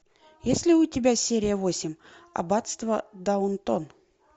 есть ли у тебя серия восемь аббатство даунтон